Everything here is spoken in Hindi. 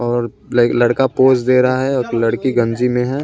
और ल लड़का पोज़ दे रहा है और लड़की गंजी में है।